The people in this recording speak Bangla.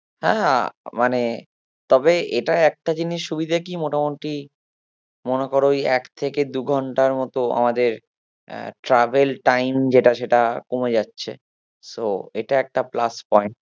হ্যাঁ মানে তবে এটা একটা জিনিস সুবিধে কি মোটামুটি মনে করো ওই এক থেকে দু ঘন্টার মতো আমাদের আহ travel time যেটা সেটা কমে যাচ্ছে so একটা plus point